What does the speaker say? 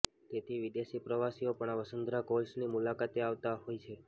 તેથી વિદેશી પ્રવાસીઓ પણ આ વસુંધરા ફોલ્સની મુલાકાતે આવતા હોય છે